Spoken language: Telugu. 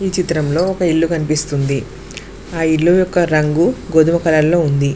ఈ చిత్రంలో ఒక ఇల్లు కనిపిస్తుంది ఆ ఇల్లు యొక్క రంగు గోధుమ కలర్ లో ఉంది.